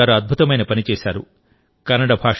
సురేష్ కుమార్ గారు అద్భుతమైన పని చేశారు